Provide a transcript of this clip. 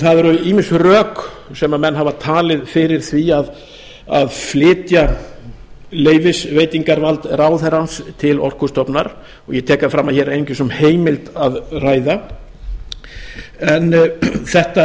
það eru ýmis rök sem menn hafa talið fyrir því að flytja leyfisveitingarvald ráðherrans til orkustofnunar og ég tek það fram að hér er einungis um heimild að ræða en